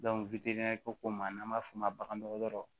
ko ma n'an b'a f'o ma bagandɔgɔtɔrɔ